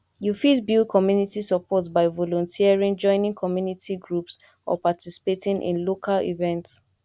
you fit build community support by volunteering joining community groups or participating in local events